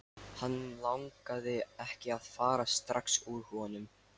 Hann langaði ekki að fara strax úr honum.